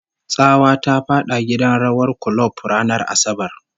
Tsawa ta fada gidan rawar kulob ranar Asabar